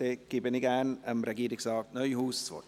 Somit gebe ich gerne Regierungsrat Neuhaus das Wort.